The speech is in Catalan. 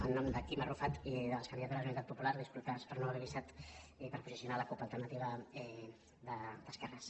en nom del quim arrufat i de les candidatures d’unitat popular disculpes per no haver avisat i per posicionar la cup alternativa d’esquerres